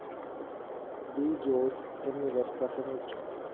V Jose എന്നിവര്‍ പ്രസംഗിച്ചു